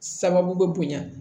Sababu bɛ bonya